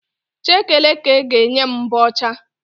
Chekeleke ga-enye m mbọ ọcha